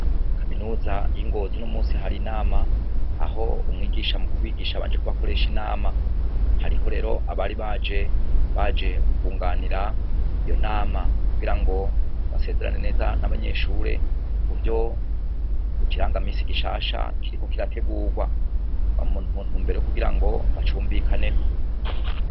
Kaminuza y'ingozo uno musi hari inama aho umwigisha mu kubigisha abanje kubakoresha inama hariho rero abari baje baje kunganira iyo nama kugira ngo basezerane neza n'abanyeshure ku vyo ikiranga misi gishasha kiriko kirategurwa muntumbero yokugira ngo bacumvikaneko.